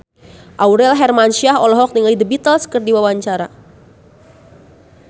Aurel Hermansyah olohok ningali The Beatles keur diwawancara